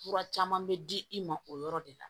Fura caman bɛ di i ma o yɔrɔ de la